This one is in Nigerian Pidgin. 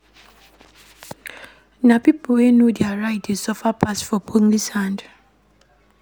Na pipo wey know their right dey suffer pass for police hand.